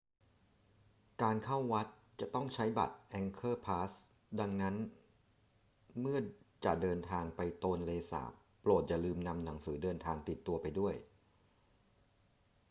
การเข้าวัดจะต้องใช้บัตร angkor pass ดังนั้นเมื่อจะเดินทางไปโตนเลสาบ โปรดอย่าลืมนำหนังสือเดินทางติดตัวไปด้วย